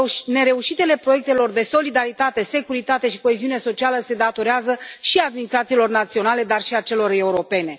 Nereușitele proiectelor de solidaritate, securitate și coeziune socială se datorează și administrațiilor naționale, dar și celor europene.